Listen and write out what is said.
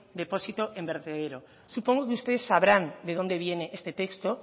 depósito en vertedero supongo que ustedes sabrán de dónde viene este texto